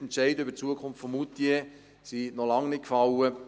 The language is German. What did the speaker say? Die Entscheide über die Zukunft von Moutier sind noch lange nicht gefällt.